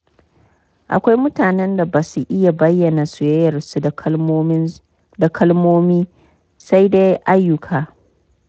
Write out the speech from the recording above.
Akwai mutanen da ba sa iya bayyana soyayyarsu da kalmomi, sai da ayyuka.